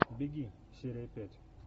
беги серия пять